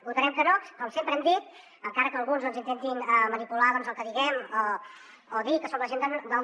votarem que no com sempre hem dit encara que alguns intentin manipular el que diguem o dir que som la gent del no